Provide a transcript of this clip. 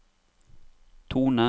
tone